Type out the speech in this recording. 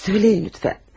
Söyləyin lütfən.